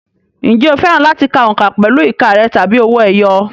Ǹjẹ́ o fẹ́ràn láti ka òǹkà pẹ̀lú ìka rẹ̀ tàbí owó ẹyọ?